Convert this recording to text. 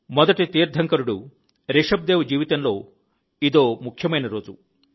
మొదటి తీర్థంకరుడు రిషభదేవ్ జీవితంలో ఇదో ఒక ముఖ్యమైన రోజు